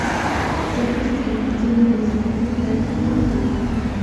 запусти на телевизоре передачу ноль три